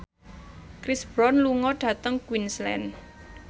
Chris Brown lunga dhateng Queensland